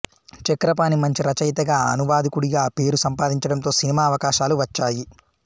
చక్రపాణి మంచి రచయితగా అనువాదకుడిగా పేరు సంపాదించడంతో సినిమా అవకాశాలు వచ్చాయి